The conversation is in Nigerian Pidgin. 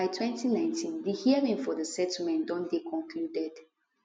by 2019 di hearing for di settlement don dey concluded